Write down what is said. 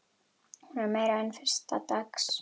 Hún er meira en fyrsta dags.